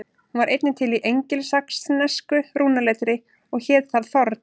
Hún var einnig til í engilsaxnesku rúnaletri og hét þar þorn.